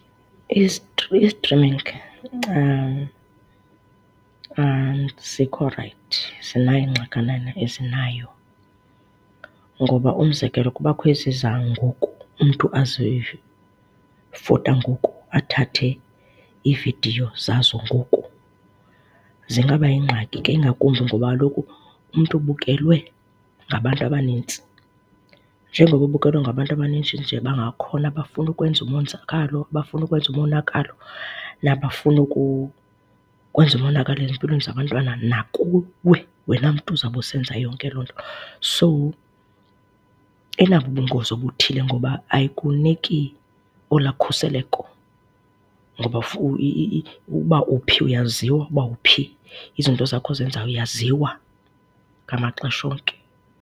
I-streaming azikho rayithi. Zinayo iingxakanana ezinayo ngoba umzekelo, kubakho ezi zangoku umntu azifota ngoku, athathe iividiyo zazo ngoku. Zingabayingxaki ke ingakumbi ngoba kaloku umntu ubukelwe ngabantu abanintsi. Njengoko ubukelwe ngabantu abaninji nje bangakhona abafuna ukwenza umonzakalo, bafuna ukwenza umonakalo nabafuna ukukwenza umonakalo ezimpilweni zabantwana nakuwe wena mntu uzoba usenza yonke loo nto. So inabo ubungozi obuthile ngoba ayikuniki olaa khuseleko ngoba ukuba uphi uyaziwa, ukuba uphi. Izinto zakho ozenzayo uyaziwa ngamaxesha onke.